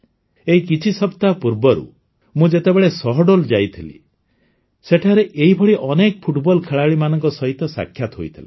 ଏଇ କିଛି ସପ୍ତାହ ପୂର୍ବରୁ ମୁଁ ଯେବେ ସହଡୋଲ୍ ଯାଇଥିଲି ସେଠାରେ ଏହିଭଳି ଅନେକ ଫୁଟବଲ ଖେଳାଳିମାନଙ୍କ ସହିତ ସାକ୍ଷାତ ହୋଇଥିଲା